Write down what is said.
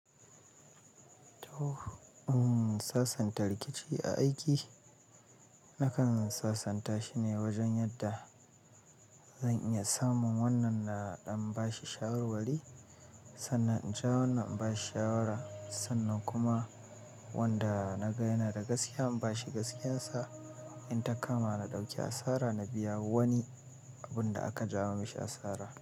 To, sasanta rikici a aiki, na kan sasanta shi ne wajen yadda zan iya samun wannan na ɗan ba shi shawarwari, sannan in ja wannan in ba shi shawara. Sannan kuma wanda na ga yana da gaskiya in ba shi gaskiyarsa. In ta kama na ɗauki asara, na biya wani abin da aka jawo mishi asara.